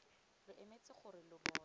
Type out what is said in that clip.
lo emetse gore lo bone